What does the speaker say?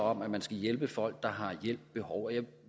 om at man skal hjælpe folk der har hjælp behov jeg